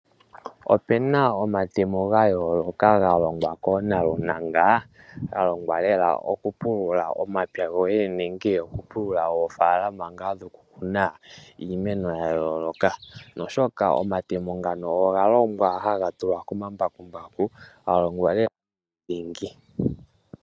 Opu na omatemo ga yooloka ga longwa koonalunanga, ga longwa lela okupulula omapya goye nenge okupulula oofalalama ngaa dhokukuna iimeno ya yooloka, oshoka omatemo ngano oga longwa haga tulwa komambakumbaku, ga longwa lela dhingi.